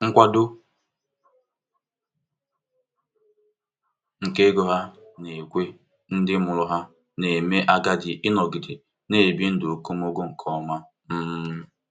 Nkwado nke ego ha na-ekwe ndị mụrụ ha na-eme agadi ịnọgide na-ebi ndụ okomoko nke ọma. um